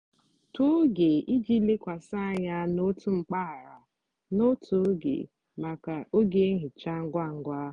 tọọ oge iji lekwasị anya n'otu mpaghara n'otu oge maka oge nhicha ngwa ngwa.